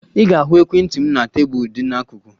Ị ga-ahụ ekwentị m na tebụl dị n'akụkụ.